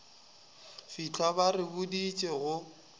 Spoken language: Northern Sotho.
fitlha ba re boditše go